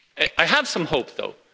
I have some hope, though.